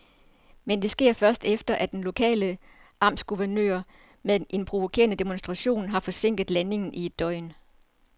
Men det sker først, efter at den lokale amtsguvernør med en provokerende demonstration har forsinket landingen i et døgn.